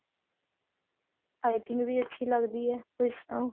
ਪਾਈਪਿੰਨ ਵੀ ਅੱਛੀ ਲੱਗਦੀ ਹੈ ਉਸ ਤੋਂ